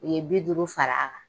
U ye bi duuru fara